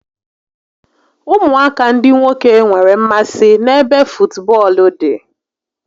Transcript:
Ụmụaka ndị nwoke nwere mmasị n'ebe futubọọlụ dị